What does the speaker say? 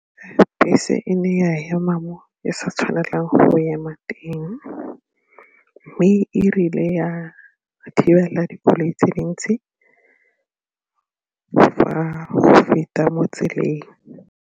Bese e ne ya ema mo e sa tshwanelang go ema teng mme erile ya thibela dikoloi tse dintsi fa go feta mo tseleng.